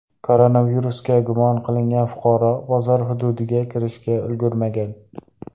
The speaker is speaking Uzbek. Koronavirusga gumon qilingan fuqaro bozor hududiga kirishga ulgurmagan.